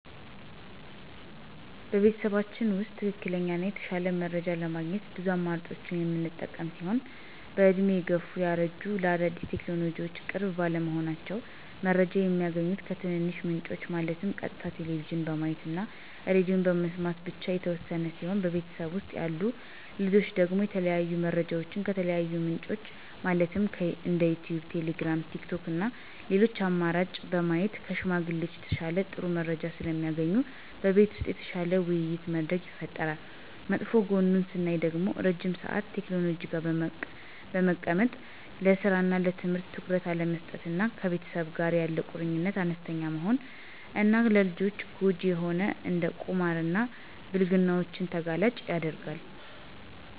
በቤተሰባችን ውስጥ ትክክለኛ እና የተሻለ መረጃ ለማግኘት ብዙ አማራጮችን የምንጠቀም ሲሆን በእድሜ የገፉት (ያረጁት) ለአዳዲስ ቴክኖሎጅዎች ቅርብ ባለመሆናቸው። መረጃ የሚያገኙት ከትንንሽ ምንጮች ማለትም ቀጥታ ቴሌቭዥን በማየት እና ሬድዬ በመስማት ብቻ የተወሰነ ሲሆን በቤተሰብ ውስጥ ያሉ ልጆች ደግሞ የተለያዩ መረጃዎችን ከተለያዩ ምንጮች ማለትም እንደ ዩቲዩብ: ቴሌግራም: ቲክቶክ እና ሌሎች አማራጭ በማየት ከሽማግሌዎች በተሻለ ጥሩ መረጃዎች ስለሚያገኙ በቤት ውስጥ የተሻለ የውይይት መድረክ ይፈጠራል። መጥፎ ጎኑን ስናይ ደግሞ ረዥም ሰአት ቴክኖሎጂ ጋር በመቀመጥ ለስራ እና ለትምህርት ትኩረት አለመስጠት እና ከቤተሰብ ጋር ያለ ቁርኝት አነስተኛ መሆን እና ለልጆች ጎጅ የሆኑ እንደ ቁማር እና ብልግናዎችን ተጋላጭ ያደርጋል።